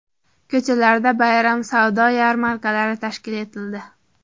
Ko‘chalarda bayram savdo yarmarkalari tashkil etildi.